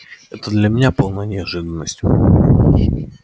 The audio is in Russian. это для меня полная неожиданность